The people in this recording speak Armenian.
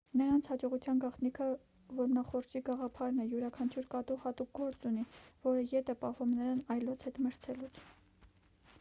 նրանց հաջողության գաղտնիքը որմնախորշի գաղափարն է յուրաքանչյուր կատու հատուկ գործ ունի որը ետ է պահում նրան այլոց հետ մրցելուց